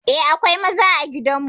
Eh, akwai maza a gidan mu.